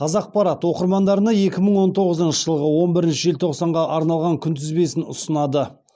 қазақпарат оқырмандарына екі мың он тоғызыншы жылғы он бірінші желтоқсанға арналған күнтізбесін ұсынады